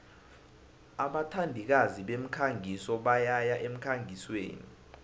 abathandikazi bemikhangiso bayaya emkhangisweni